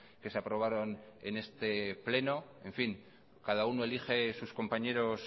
que se aprobaron en este pleno en fin cada uno elige sus compañeros